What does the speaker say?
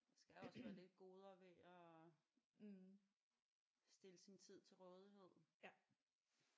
Der skal også være lidt goder ved at stille sin tid til rådighed